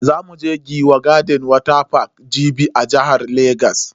Za mu je Giwa garden water park Jibi a jihar Legas.